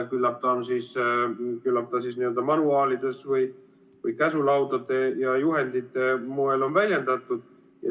Küllap ta on siis n-ö manuaalide või käsulaudade ja juhendite moel väljendatud.